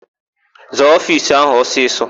Zaa ofiisi áhụ̀ ọsịsọ!